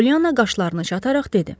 Polyana qaşlarını çatararaq dedi: